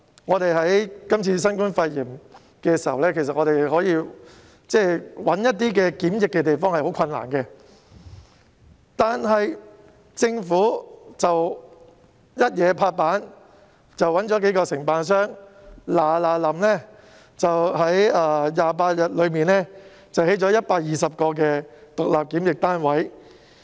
面對今次新冠肺炎疫情，要物色地方作為檢疫設施是很困難的事。但政府果斷行事，物色到數個承辦商在28天內迅速興建120個獨立檢疫單位。